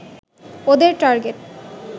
ওদের টার্গেট